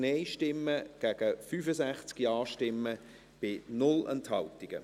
Sie haben diesen Punkt abgelehnt, mit 83 Nein- gegen 65 Ja-Stimmen bei 0 Enthaltungen.